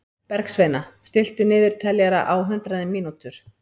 Bergsveina, stilltu niðurteljara á hundrað mínútur.